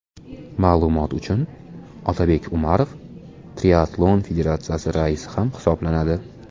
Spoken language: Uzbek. Ma’lumot uchun, Otabek Umarov Triatlon federatsiyasi raisi ham hisoblanadi.